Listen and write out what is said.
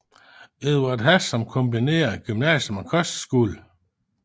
Edvard Hass som kombineret gymnasium og kostskole